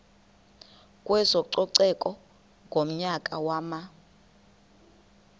kwezococeko ngonyaka wama